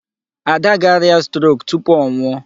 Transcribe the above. Ada ga-arịa 'stroke' tupu ọ nwụọ.